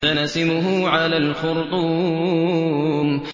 سَنَسِمُهُ عَلَى الْخُرْطُومِ